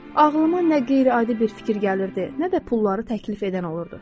Ağlıma nə qeyri-adi bir fikir gəlirdi, nə də pulları təklif edən olurdu.